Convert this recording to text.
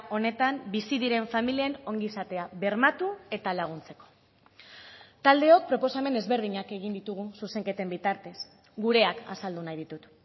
honetan bizi diren familien ongizatea bermatu eta laguntzeko taldeok proposamen ezberdinak egin ditugu zuzenketen bitartez gureak azaldu nahi ditut